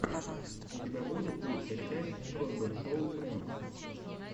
у тебя будет лучшая часть тройбэн шоу прэнкс